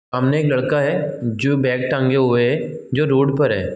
सामने एक लड़का है जो बैग टांगे हुए है जो रोड पर है।